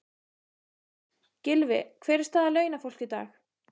Jóhann: Gylfi, hver er staða launafólks í dag?